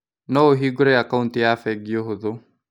No ũhingũre akauti ya bengi ũhũthũ.